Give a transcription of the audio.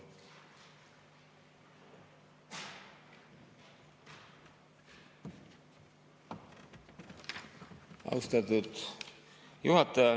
Austatud juhataja!